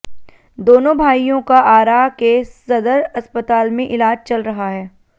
दोनों भाइयों का आरा के सदर अस्पताल में इलाज चल रहा है